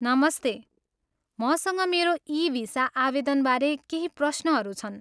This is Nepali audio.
नमस्ते, मसँग मेरो ई भिसा आवेदनबारे केही प्रश्नहरू छन्।